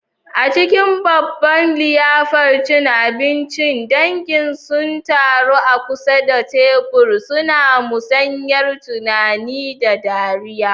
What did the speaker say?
A cikin babban liyafar cin abinci, dangin sun taru a kusa da tebur, suna musayar tunani da dariya.